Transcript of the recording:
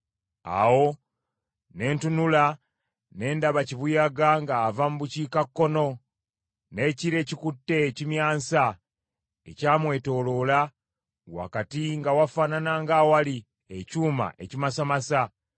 Awo ne ntunula ne ndaba kibuyaga ng’ava mu bukiikakkono, n’ekire ekikutte ekimyansa ekyamwetooloola, wakati nga wafaanana ng’awali ekyuma ekimasamasa.